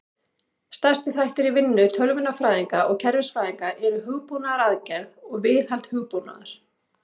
Stærstu þættir í vinnu tölvunarfræðinga og kerfisfræðinga eru hugbúnaðargerð og viðhald hugbúnaðar.